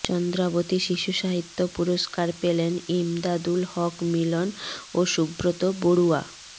চন্দ্রাবতী শিশুসাহিত্য পুরস্কার পেলেন ইমদাদুল হক মিলন ও সুব্রত বড়ুয়া